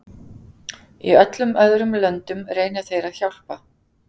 Í öllum öðrum löndum reyna þeir að hjálpa.